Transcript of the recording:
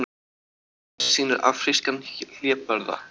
Myndin sýnir afrískan hlébarða.